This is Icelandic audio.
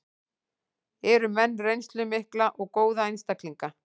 Eru með reynslu mikla og góða einstaklinga.